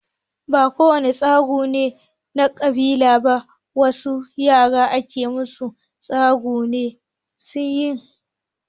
Ba ko wane tsagu ne na kabila ba, wasu yaran ana musu tsagu ne don suyi kyau.